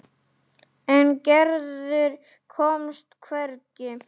En Gerður komst hvergi.